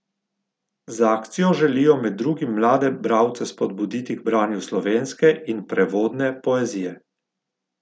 Z akcijo želijo med drugim mlade bralce spodbuditi k branju slovenske in prevodne poezije.